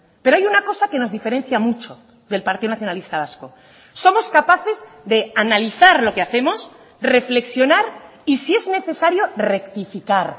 pero hay una cosa que nos diferencia mucho del partido nacionalista vasco somos capaces de analizar lo que hacemos reflexionar y si es necesario rectificar